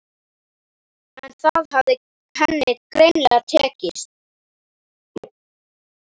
En það hafði henni greinilega tekist